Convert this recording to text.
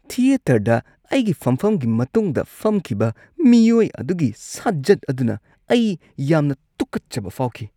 ꯊꯤꯌꯦꯇꯔꯗ ꯑꯩꯒꯤ ꯐꯝꯐꯝꯒꯤ ꯃꯇꯨꯡꯗ ꯐꯝꯈꯤꯕ ꯃꯤꯑꯣꯏ ꯑꯗꯨꯒꯤ ꯁꯥꯖꯠ ꯑꯗꯨꯅ ꯑꯩ ꯌꯥꯝꯅ ꯇꯨꯀꯠꯆꯕ ꯐꯥꯎꯈꯤ꯫